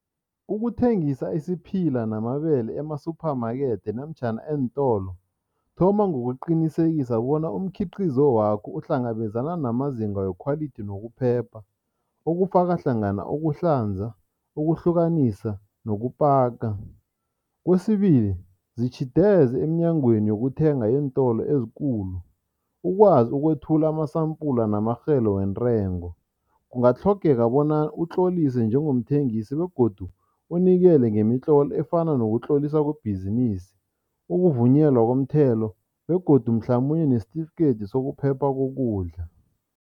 Ukuthengisa isiphila namabele ema-supermarket namtjhana eentolo, thoma ngokuqinisekisa bona umkhiqizo wakho uhlangabezana namazinga we-quality nokuphepha okufaka hlangana ukuhlanza, ukuhlukanisa nokupaka. Kwesibili, zitjhideze emnyangweni yokuthenga eentolo ezikulu, ukwazi ukwethula amasampula namarhelo wentengo. Kungatlhogeka bona utlolise njengomthengisi begodu unikele ngemitlolo efana nokutloliswa kwebhizinisi, ukuvunyelwa komthelo begodu mhlamunye nesitifikethi sokuphepha kokudla.